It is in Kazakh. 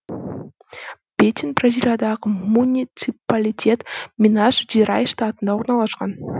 бетин бразилиядағы муниципалитет минас жерайс штатында орналасқан